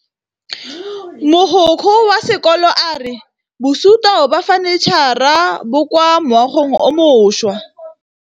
Mogokgo wa sekolo a re bosutô ba fanitšhara bo kwa moagong o mošwa.